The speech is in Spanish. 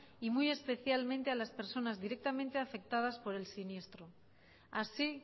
y muy especialmente a las personas directamente afectadas por el siniestro así